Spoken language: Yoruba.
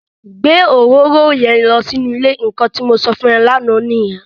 Gbé òróró yẹn lọ sínú ile! Nnkan tí mo sọ fún e lánà nìyẹn.